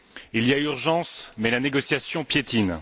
Il y a urgence mais la négociation piétine.